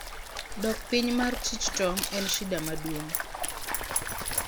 dok piny mar chich tong en shida maduong